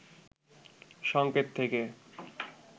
সংকেত থেকে